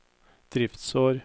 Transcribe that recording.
driftsår